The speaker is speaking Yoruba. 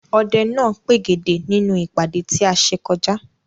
Ọdẹ náà pègèdè nínú ìpàdé tí a ṣe kọjá.